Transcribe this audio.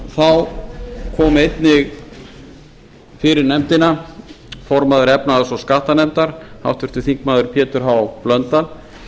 þá kom einnig fyrir nefndina formaður efnahags og skattanefndar háttvirtur þingmaður pétur h blöndal